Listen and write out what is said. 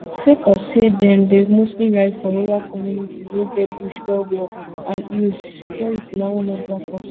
sake of say dem dey mostly ride for rural communities wey get bush well well and hills security na one of dia concerns